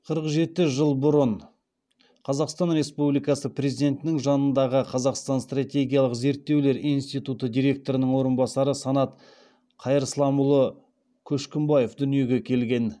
қырық жеті жыл бұрын қазақстан республикасы президентінің жанындағы қазақстан стратегиялық зерттеулер институты директорының орынбасары санат қайырсламұлы көшкімбаев дүниеге келген